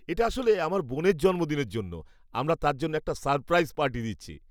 এটা আসলে আমার বোনের জন্মদিনের জন্য। আমরা তার জন্য একটা সারপ্রাইজ পার্টি দিচ্ছি।